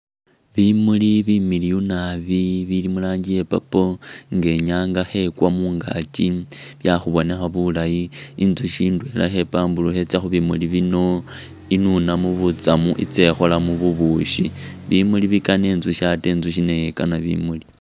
Bimuuli bimiliyu naabi bili mu’ranji iya purple nga inyanga khekwa mungaaki bya khubonekha bulaayi intsukhi indwela khe’pamburukha itsa khubimuuli bino inunemo butsamu itse ikholemo bubushi ,bimuuli bikaana intsukhi ate intsukhi nayo ikana bimuuli.